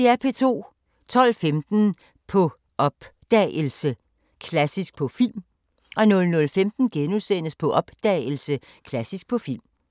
12:15: På opdagelse – Klassisk på film 00:15: På opdagelse – Klassisk på film *